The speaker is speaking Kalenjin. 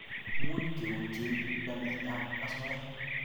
much keutye namet ab asoya